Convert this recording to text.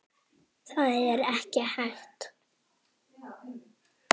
Það er ekki hægt